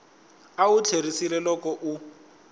a wu tlheriseli loko u